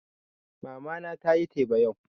Mama na tayi teba yau